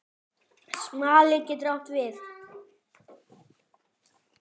Smali getur átt við